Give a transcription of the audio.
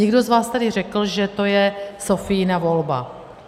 Někdo z vás tady řekl, že to je Sophiina volba.